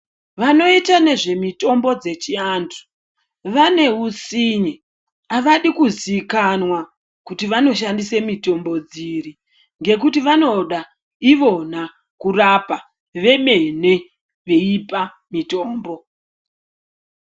Vanoita nezvemutombo dzechiantu vane hutsinye havadi kuzikanwa kuti vanoshandise mitombo dziri ngekuti vanoda ivona kurapa vemene veipa mutombo.